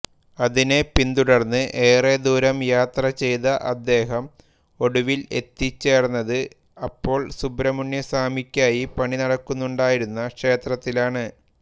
അതിനെ പിന്തുടർന്ന് ഏറെ ദൂരം യാത്ര ചെയ്ത അദ്ദേഹം ഒടുവിൽ എത്തിച്ചേർന്നത് അപ്പോൾ സുബ്രഹ്മണ്യസ്വാമിയ്ക്കായി പണി നടക്കുന്നുണ്ടായിരുന്ന ക്ഷേത്രത്തിലാണ്